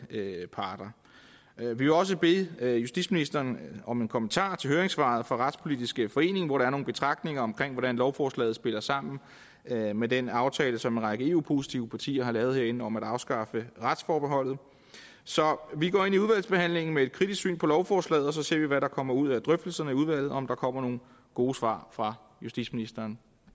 parter vi vil også bede justitsministeren om en kommentar til høringssvaret fra retspolitisk forening hvor der er nogle betragtninger omkring hvordan lovforslaget spiller sammen med med den aftale som en række eu positive partier har lavet herinde om at afskaffe retsforbeholdet så vi går ind i udvalgsbehandlingen med et kritisk syn på lovforslaget og så ser vi hvad der kommer ud af drøftelserne i udvalget og om der kommer nogle gode svar fra justitsministeren